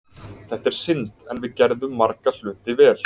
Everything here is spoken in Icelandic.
Þetta er synd, en við gerðum marga hluti vel.